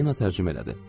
Polina tərcümə elədi.